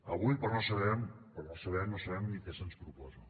avui per no saber no sabem ni què se’ns proposa